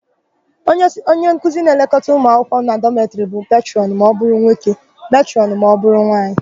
Onyenkuzi na-elekọta ụmụakwụkwọ na dọmetịrị bụ petrọnụ ma ọbụrụ nwoke, metrọnụ ma ọbụrụ nwaanyị.